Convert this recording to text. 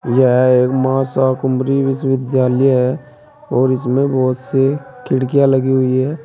यह एक मां शिकुम्भरी विश्वविद्यालय है और इसमें बहुत सी खिड़कियां लगी हुई है।